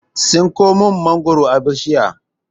Tsinko min mangwaro a bishiya